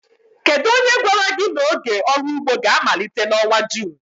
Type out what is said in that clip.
Kedu onye gwara gị na oge ọrụ ugbo ga-amalite n'ọnwa June?